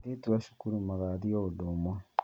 Airĩtu a cukuru magathiĩ o ũndũ ũmwe